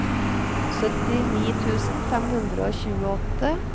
syttini tusen fem hundre og tjueåtte